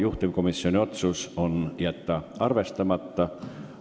Juhtivkomisjoni otsus on jätta see arvestamata.